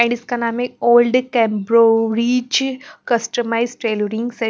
And इसका नाम हैओल्ड कंबरोविच कस्टमइसे टेलरिंग .